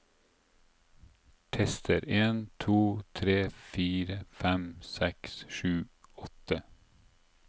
Tester en to tre fire fem seks sju åtte